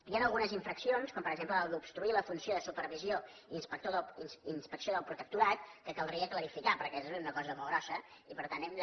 hi han algunes infraccions com per exemple la d’obstruir la funció de supervisió i inspecció del protectorat que caldria clarificar perquè és una cosa molt grossa i per tant hem de